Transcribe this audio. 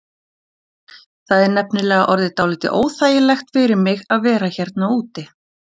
Það er nefnilega orðið dálítið óþægilegt fyrir mig að vera hérna úti.